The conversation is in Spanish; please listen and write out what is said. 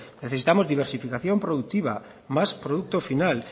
necesitamos diversificación productiva más producto final